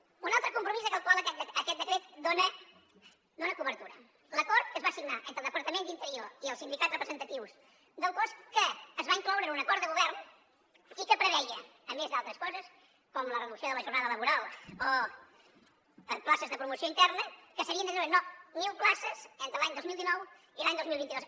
un altre compromís al qual aquest decret dona cobertura l’acord que es va signar entre el departament d’interior i els sindicats representatius del cos que es va incloure en un acord de govern i que preveia a més d’altres coses com la reducció de la jornada laboral o places de promoció interna que s’havien de treure mil places entre l’any dos mil dinou i l’any dos mil vint dos